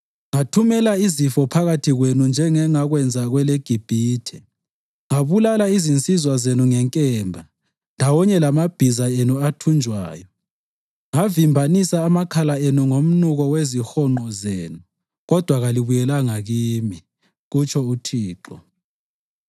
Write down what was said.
“Ngathumela izifo phakathi kwenu njengengakwenza kweleGibhithe. Ngabulala izinsizwa zenu ngenkemba ndawonye lamabhiza enu athunjwayo. Ngavimbanisa amakhala enu ngomnuko wezihonqo zenu, kodwa kalibuyelanga kimi,” kutsho uThixo.